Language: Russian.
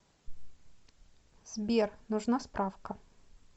сбер нужна справка